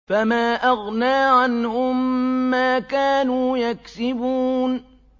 فَمَا أَغْنَىٰ عَنْهُم مَّا كَانُوا يَكْسِبُونَ